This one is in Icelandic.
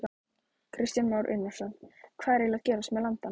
Kristján Már Unnarsson: Hvað er eiginlega að gerast með landann?